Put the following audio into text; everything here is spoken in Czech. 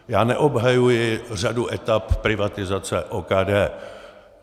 Já neobhajuji řadu etap privatizace OKD.